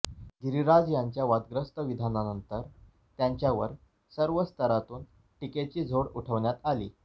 गिरीराज यांच्या वादग्रस्त विधानानंतर त्यांच्यावर सर्व स्तरातून टीकेची झोड उठवण्यात आली